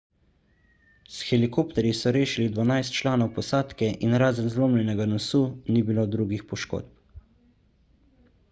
s helikopterji so rešili dvanajst članov posadke in razen zlomljenega nosu ni bilo drugih poškodb